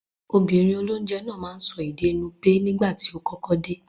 Obìnrin olónje náà máa n so ède Nupe nígbàtí o kọ́kọ́ de